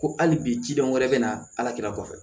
Ko hali bi cidenw wɛrɛ bɛ na ala kira kɔfɛ